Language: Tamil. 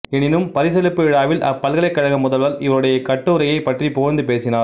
எனினும் பரிசளிப்பு விழாவில் அப்பல்கலைக் கழக முதல்வர் இவருடைய கட்டுரையைப் பற்றிப் புகழ்ந்து பேசினார்